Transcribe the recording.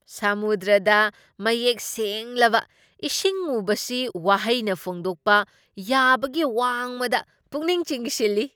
ꯁꯃꯨꯗ꯭ꯔꯗ ꯃꯌꯦꯛ ꯁꯦꯡꯂꯕ ꯏꯁꯤꯡ ꯎꯕꯁꯤ ꯋꯥꯍꯩꯅ ꯐꯣꯡꯗꯣꯛꯄ ꯌꯥꯕꯒꯤ ꯋꯥꯡꯃꯗ ꯄꯨꯛꯅꯤꯡ ꯆꯤꯡꯁꯤꯜꯂꯤ ꯫